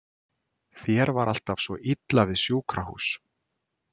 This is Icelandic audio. Þér var alltaf svo illa við sjúkrahús.